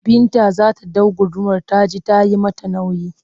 Binta za ta ɗau gudumar ta ji ta yi mata nauyi